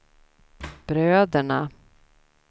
bröderna